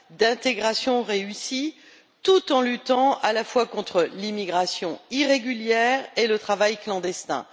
d'intégration réussie, tout en luttant à la fois contre l'immigration irrégulière et le travail clandestin.